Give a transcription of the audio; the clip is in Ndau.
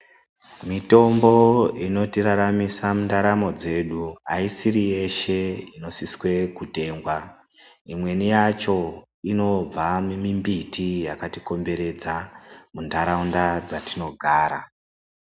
Mitombo inotiraramisa mundaramo dzedu haisiri yeshe inosiswe kutengwa. Imweni yacho inobva mumimbiti yakatikomberedza munharaunda dzatinogara.